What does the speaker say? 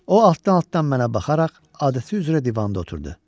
O altdan-altdan mənə baxaraq adəti üzrə divanda oturdu.